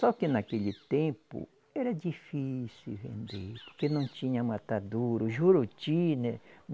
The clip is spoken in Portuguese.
Só que naquele tempo era difícil vender, porque não tinha matadouro, Juruti, né?